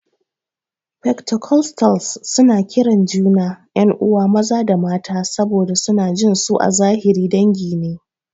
Fentakostalis suna kiran juna 'yan'uwa maza da mata saboda suna jin su a zahiri dangi ne.